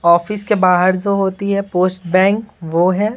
Office के बाहर जो होती है पोस्ट बैंक वो है।